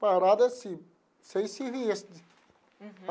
Parado assim, sem serviço. Uhum.